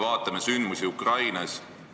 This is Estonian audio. Vaatame sündmusi Ukrainas.